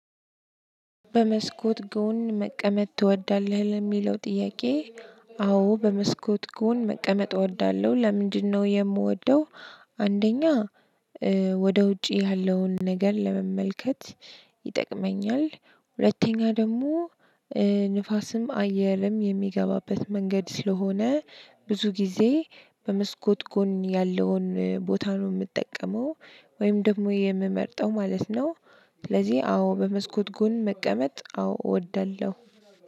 በመስኮት ጎን መቀመጥ ትወዳለህ ለሚለው ጥያቄ? አዎ በመስኮት ጎን መቀመጥ እወዳለሁ ለምንድነው የምወደው? አንደኛ ወደ ውጪ ያለውን ነገር ለመመልከት ይጠቅመኛል። ሁለተኛ ደግሞ ንፋስም አየርም የሚገባበት መንገድ ስለሆነ ብዙ ጊዜ በመስኮት ጎን ያለውን ቦታ ነው የምጠቀመው። ወይም ደግሞ የምመርጠው ማለት ነው። ስለዚህ አዎ በመስኮት ጎን መቀመጥ አዎ እወዳለሁ።